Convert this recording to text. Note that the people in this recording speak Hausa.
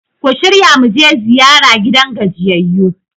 ku shirya mu je ziyara gidan gajiyayyu!